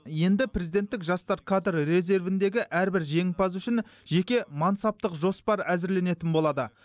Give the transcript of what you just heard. енді президенттік жастар кадр резервіндегі әрбір жеңімпаз үшін жеке мансаптық жоспар әзірленетін болады